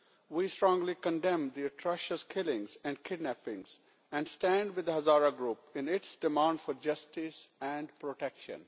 We strongly condemn these atrocious killings and kidnappings and stand with the Hazara group in its demand for justice and protection.